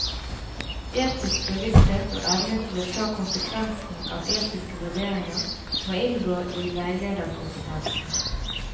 Etisk bevissthet og evne til å ta konsekvensen av etiske vurderinger må inngå i veilederkompetansen.